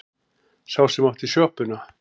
Sá sem átti sjoppuna.